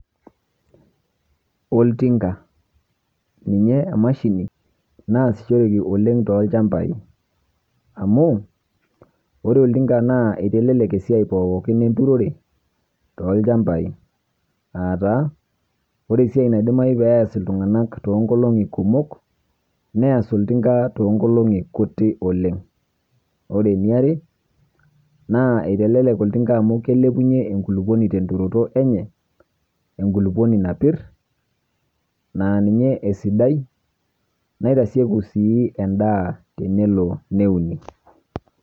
Oltinga, ninye emashini naasishoreki oleng' tolchambai amuu ore oltinga naa eitelelek esiai pookin enturore tolchambai aataa oresiai naidimayu peeas iltung'anak toonkolong'i kumok neas oltinga toonkolong'i kuti oleng'. Ore eniare naa eitelelek oltinga amu keilepunye enkulukuoni tenturoto enye enkulukuoni napirr naa ninye esidai naitasieku sii endaa tenelo neuni.